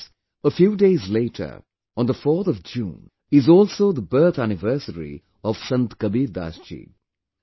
Friends, a few days later, on the 4th of June, is also the birth anniversary of Sant Kabirdas ji